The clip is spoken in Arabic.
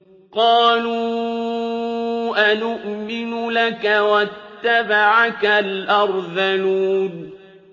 ۞ قَالُوا أَنُؤْمِنُ لَكَ وَاتَّبَعَكَ الْأَرْذَلُونَ